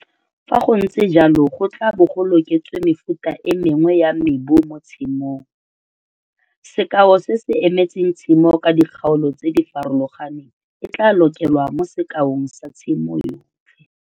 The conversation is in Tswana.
Fa go ntse jalo go tla bo go loketswe mefuta e mngwe ya mebu mo tshimong. Sekao se se emetseng tshimo ka dikgaolo tse di farologaneng e tla lokelwa mo sekaong sa tshimo yotlhe.